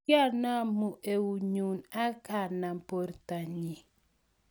Kiacnamu eunyu akanam borto nyi